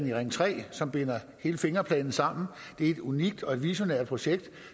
i ring tre som binder hele fingerplanen sammen det er et unikt og et visionært projekt